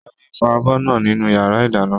Ṣadé ń fọ abọ́ náà nínú yàrá ìdáná